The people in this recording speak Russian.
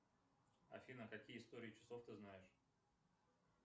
афина какие истории часов ты знаешь